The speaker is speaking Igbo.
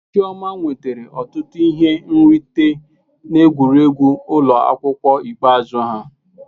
Chioma nwetara ọtụtụ ihe nrite n'egwuregwu ụlọ akwụkwọ ikpeazụ ha.